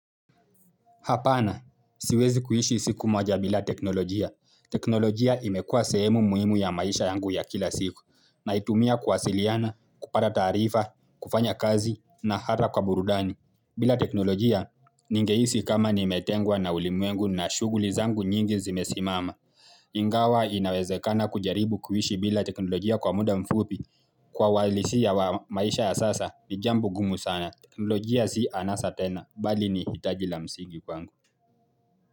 Hapana, siwezi kuishi siku moja bila teknolojia. Teknolojia imekuwa sehemu muhimu ya maisha yangu ya kila siku. Naitumia kuwasiliana, kupata taarifa, kufanya kazi na hata kwa burudani. Bila teknolojia, ningehisi kama nimetengwa na ulimwengu na shuguli zangu nyingi zimesimama. Ingawa inawezekana kujaribu kuishi bila teknolojia kwa muda mfupi Kwa walisi ya maisha ya sasa ni jambo gumu sana teknolojia si anasa tena, bali ni hitaji la msigi kwangu.